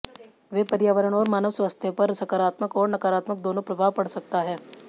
वे पर्यावरण और मानव स्वास्थ्य पर सकारात्मक और नकारात्मक दोनों प्रभाव पड़ सकता है